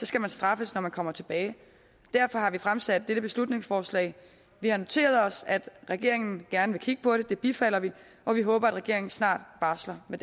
skal man straffes når man kommer tilbage og derfor har vi fremsat dette beslutningsforslag vi har noteret os at regeringen gerne vil kigge på det det bifalder vi og vi håber at regeringen snart barsler med